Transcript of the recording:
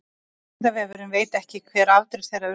vísindavefurinn veit ekki hver afdrif þeirra urðu